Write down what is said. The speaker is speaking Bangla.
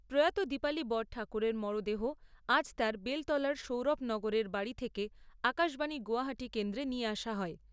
প্রয়াত দীপালী বরঠাকুরের মরদেহ আজ তাঁর বেলতলার সৌরভ নগরের বাড়ি থেকে আকাশবাণী গৌহাটী কেন্দ্রে নিয়ে আসা হয়।